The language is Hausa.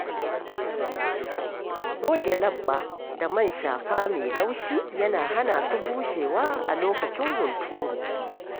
Goge leɓɓa da man shafa mai laushi yana hana su bushewa a lokacin hunturu.